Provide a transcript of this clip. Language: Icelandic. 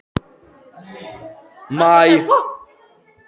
Maj, lækkaðu í hátalaranum.